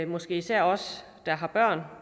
måske især os der har børn